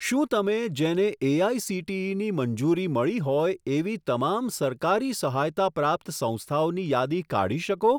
શું તમે જેને એઆઇસીટીઈની મંજૂરી મળી હોય એવી તમામ સરકારી સહાયતા પ્રાપ્ત સંસ્થાઓની યાદી કાઢી શકો?